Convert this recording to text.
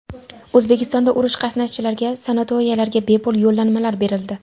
O‘zbekistonda urush qatnashchilariga sanatoriylarga bepul yo‘llanmalar berildi.